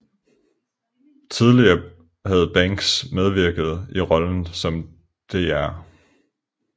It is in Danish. Tidligere havde Banks medvirket i rollen som Dr